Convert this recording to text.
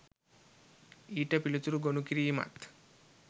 ඊට පිළිතුරු ගොනු කිරීමත්